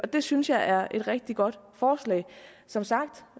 det synes jeg er et rigtig godt forslag som sagt